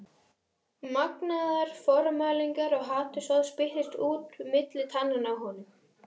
Magnaðar formælingar og hatursorð spýttust út milli tannanna á honum.